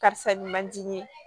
Karisa nin man di n ye